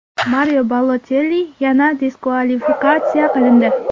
Mario Balotelli yana diskvalifikatsiya qilindi.